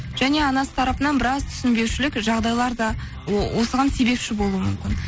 және анасы тарапынан біраз түсінбеушілік жағдайлар да осыған себепші болуы мүмкін